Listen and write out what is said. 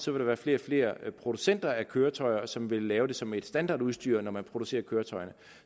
vil være flere og flere producenter af køretøjer som vil lave det som et standardudstyr når man producerer køretøjerne